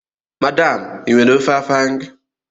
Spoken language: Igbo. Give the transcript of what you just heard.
Madam, ị nwere ofe afang?